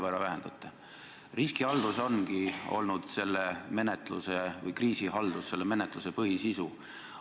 Riskihaldus või kriisihaldus ongi olnud selle menetluse põhisisu.